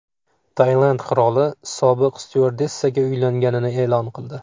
Tailand qiroli sobiq styuardessaga uylanganini e’lon qildi.